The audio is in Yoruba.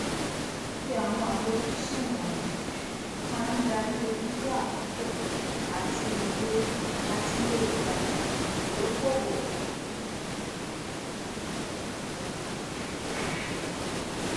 fífi àwọn àfojúsùn um wọnyí máa dári irúfẹ àkókò àti iye ìgbà ìdókòòwò um um rẹ um